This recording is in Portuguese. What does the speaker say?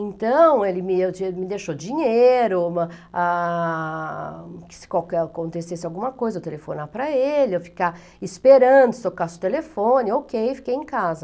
Então, ele me me deixou dinheiro, uma, ah... que se qualquer acontecesse alguma coisa, eu telefonar para ele, eu ficar esperando, se tocasse o telefone, ôu kêi, fiquei em casa.